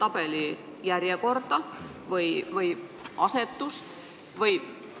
– muudaks järjekorda selles tabelis, maakondade asetust?